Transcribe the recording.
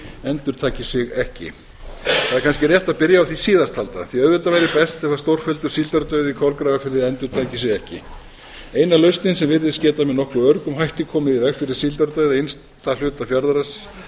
endurtaki sig ekki það er kannski rétt að byrja á því síðast alla því auðvitað væri best ef stórfelldur síldardauði í kolgrafafirði endurtæki sig ekki eina lausnin sem virðist geta með nokkuð öruggum hætti komið í veg fyrir síldardauða innsta hluta fjarðarins er sú